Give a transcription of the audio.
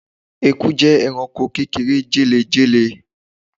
ẹkú jẹ ẹranko kékeré jẹléjẹlé